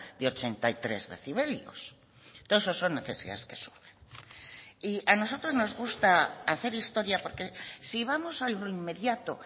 de ochenta y tres decibelios todo eso son necesidades que surgen y a nosotros nos gusta hacer historia porque si vamos a lo inmediato